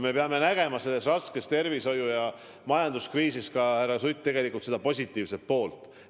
Me peame nägema selles raskes tervishoiu- ja majanduskriisis, härra Sutt, tegelikult ka seda positiivset poolt.